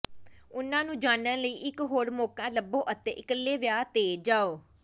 ਉਨ੍ਹਾਂ ਨੂੰ ਜਾਣਨ ਲਈ ਇਕ ਹੋਰ ਮੌਕਾ ਲੱਭੋ ਅਤੇ ਇਕੱਲੇ ਵਿਆਹ ਤੇ ਜਾਉ